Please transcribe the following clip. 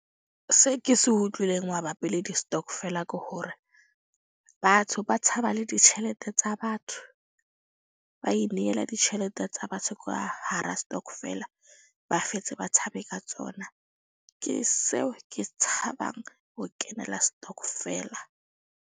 Se ke se utlwileng mabapi le di-stokvel-a ke hore batho ba tshaba le ditjhelete tsa batho. Ba inehela ditjhelete tsa batho ka hara setokofela, ba fetse ba tshabe ka tsona. Ke seo ke tshabang ho kenela stokvel-a.